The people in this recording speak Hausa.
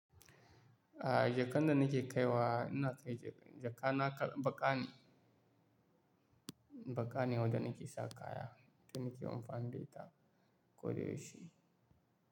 Aaa, jakan da nake kaiwa, ina kai jaka na baƙa ne, baƙa ne wanda nake sa kaya, wanda nake amfani da ita, ko da yaushe.